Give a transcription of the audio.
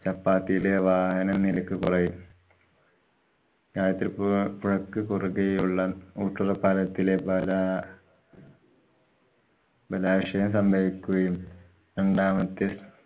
ലെ വാഹന നിരക്ക് കുറയും. ഗായത്രിപ്പു~ പ്പുഴക്ക്‌ കുറുകെ ഉള്ള ഊട്ടറപ്പാലത്തിലെ പല ബാലാശയം സംഭവിക്കുകയും രണ്ടാമത്തെ